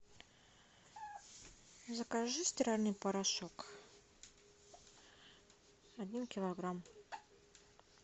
закажи стиральный порошок один килограмм